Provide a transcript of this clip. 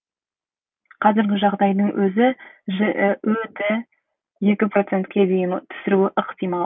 қазіргі жағдайдың өзі жіө ді екі процентке дейін түсіруі ықтимал